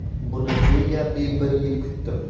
Buni deyarli bir yil kutdim.